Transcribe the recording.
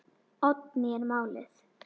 Oddný er málið.